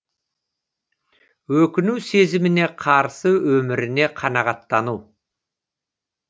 өкіну сезіміне қарсы өміріне қанағаттану